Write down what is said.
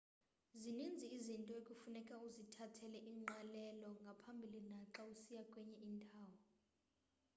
zininzi izinto ekufuneka uzithathele ingqalelo ngaphambili naxa usiya kwenye indawo